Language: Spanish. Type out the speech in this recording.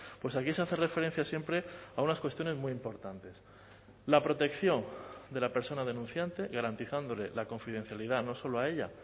pues aquí se hace referencia siempre a unas cuestiones muy importantes la protección de la persona denunciante garantizándole la confidencialidad no solo a ella